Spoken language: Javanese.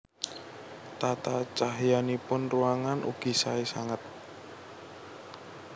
Tata cahyanipun ruangan ugi saé sanget